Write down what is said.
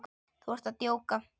Þú ert að djóka?